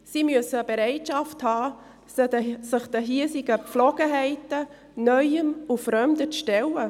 Sie müssen die Bereitschaft haben, sich den hiesigen Gepflogenheiten, Neuem und Fremdem zu stellen.